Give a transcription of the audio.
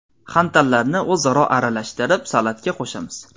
xantallarni o‘zaro aralashtirib salatga qo‘shamiz.